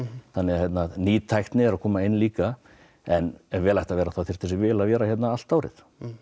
þannig að ný tækni er að koma inn líka en ef vel ætti að vera þá þyrfti þessi vél að vera hérna allt árið